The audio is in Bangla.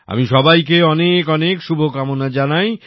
আমি সবাইকে অনেক শুভকামনা জানাই